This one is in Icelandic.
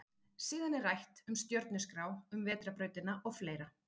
Síðan er rætt um stjörnuskrá, um vetrarbrautina og fleira.